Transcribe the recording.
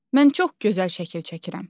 Mən çox gözəl şəkil çəkirəm.